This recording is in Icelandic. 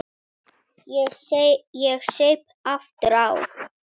Ég saup aftur á.